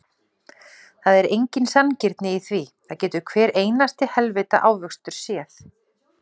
Það er engin sanngirni í því, það getur hver einasti heilvita ávöxtur séð.